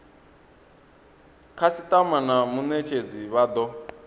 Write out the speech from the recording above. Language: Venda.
khasitama na munetshedzi vha do